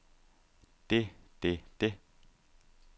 det det det